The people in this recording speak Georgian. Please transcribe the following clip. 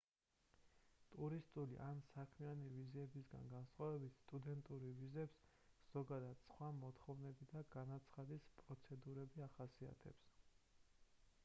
ტურისტული ან საქმიანი ვიზებისგან განსხვავებით სტუდენტურ ვიზებს ზოგადად სხვა მოთხოვნები და განაცხადის პროცედურები ახასიათებს